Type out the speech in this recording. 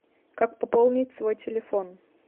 как пополнить свой телефон